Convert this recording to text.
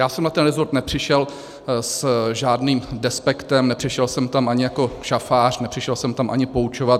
Já jsem na ten resort nepřišel s žádným despektem, nepřišel jsem tam ani jako šafář, nepřišel jsem tam ani poučovat.